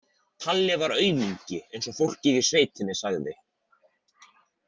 Palli var aumingi, eins og fólkið í sveitinni sagði.